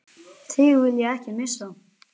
Þig vil ég ekki missa.